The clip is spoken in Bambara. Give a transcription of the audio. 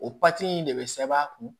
O in de bɛ sɛbɛn a kun